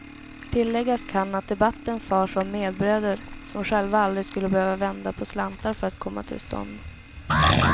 Tilläggas kan att debatten förs av medbröder, som själva aldrig skulle behöva vända på slantar för att komma till stånd.